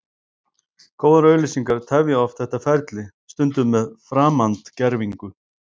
Góðar auglýsingar tefja oft þetta ferli, stundum með framandgervingu.